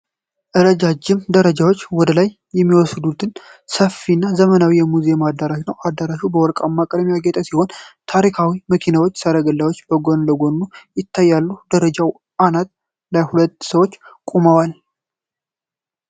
ረጃጅም ደረጃዎች ወደ ላይ የሚወስዱበት ሰፊ እና ዘመናዊ የሙዚየም አዳራሽ ነው። አዳራሹ በወርቃማ ቀለም ያጌጠ ሲሆን፣ ታሪካዊ መኪኖችና ሰረገላዎች በጎን ለጎን ይታያሉ። በደረጃው አናት ላይ ሁለት ሰዎች ቆመዋል።